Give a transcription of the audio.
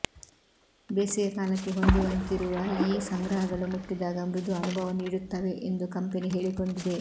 ಬೇಸಿಗೆ ಕಾಲಕ್ಕೆ ಹೊಂದುವಂತಿರುವ ಈ ಸಂಗ್ರಹಗಳು ಮುಟ್ಟಿದಾಗ ಮೃದು ಅನುಭವ ನೀಡುತ್ತವೆ ಎಂದು ಕಂಪೆನಿ ಹೇಳಿಕೊಂಡಿದೆ